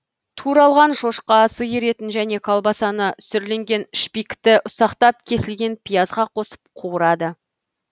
туралған шошқа сиыр етін және колбасаны сүрленген шпикті ұсақтап кесілген пиязға қосып қуырады